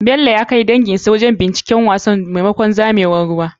Bello ya kai danginsa wurin binciken wasan maimakon zamewar ruwa.